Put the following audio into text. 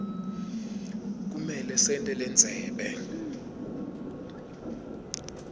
kumele sente lendzebe